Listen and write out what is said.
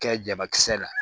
Kɛ jabakisɛ la